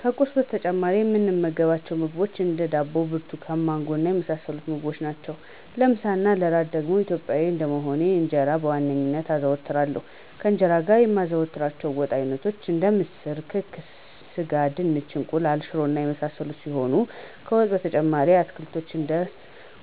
ከቁርስ በተጨማሪ የምመገባቸው ምግቦች እንደ፦ ዳቦ፣ ብርቱካን፣ ማንጎ እና የመሳሰሉትን ምግቦች ናቸው። ለምሳ እና ለእራት ደግሞ ኢትዮጵያዊ እንደመሆኔ እንጀራን በዋናነት አዘወትራለሁ፤ ከእንጀራውም ጋር የማዘወትራቸው የወጥ አይነቶች ደግሞ ምስር፣ ክክ፣ ስጋ፣ ድንች፣ እንቁላል፣ ሽሮ እና የመሳሰሉት ሲሆኑ ከወጥ በተጨማሪም አትክልቶችን እንደ